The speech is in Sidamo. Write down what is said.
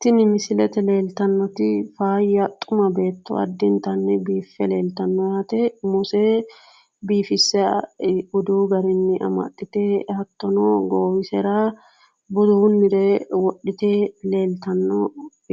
Tini misilete leeltannoti faayya xuma beetto addintanni biiffe leeltanno yaate. Umose biifisse budu garinni amaxxite hattono goowisera budunnire wodhite leeltanno